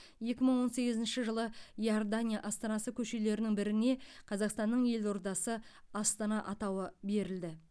екі мың он сегізінші жылы иордания астанасы көшелерінің біріне қазақстанның елордасы астана атауы берілді